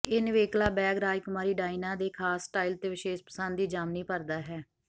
ਇਹ ਨਿਵੇਕਲਾ ਬੈਗ ਰਾਜਕੁਮਾਰੀ ਡਾਇਨਾ ਦੇ ਖ਼ਾਸ ਸਟਾਈਲ ਅਤੇ ਵਿਸ਼ੇਸ਼ ਪਸੰਦ ਦੀ ਜ਼ਾਮਨੀ ਭਰਦਾ ਹੈ